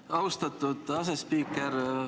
Aitäh, austatud asespiiker!